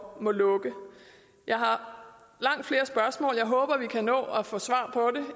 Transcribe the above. må lukke jeg har langt flere spørgsmål jeg håber vi kan nå at få svar på